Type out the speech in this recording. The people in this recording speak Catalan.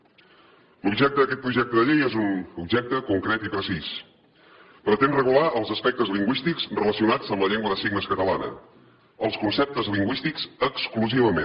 l’objecte d’aquest projecte de llei és un objecte concret i precís pretén regular els aspectes lingüístics relacionats amb la llengua de signes catalana els conceptes lingüístics exclusivament